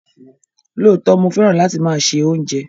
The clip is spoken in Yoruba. Lóòtọ̀, mó fẹ́ràn láti má ṣẹ ọ̀unjẹ